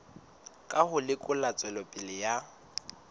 ka ho lekola tswelopele ya